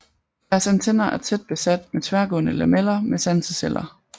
Deres antenner er tæt besat med tværgående lameller med sanseceller